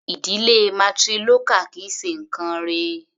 Ìdílé matrilocal kì í ṣe nǹkán rẹ̀.